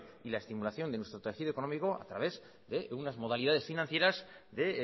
y la estimulación de nuestro tejido económico a través de unas modalidades financieras de